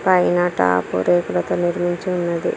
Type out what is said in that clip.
పైన టాపు రేకులతో నిర్మించి ఉన్నది.